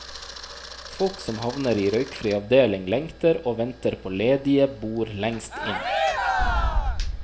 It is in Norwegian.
Folk som havner i røykfri avdeling lengter og venter på ledige bord lengst inn.